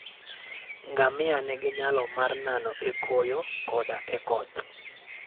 Ngamia nigi nyalo mar nano e koyo koda e koth.